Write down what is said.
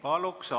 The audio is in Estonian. Palun!